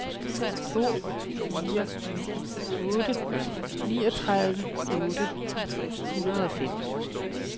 to fire ni otte niogtredive otte hundrede og fem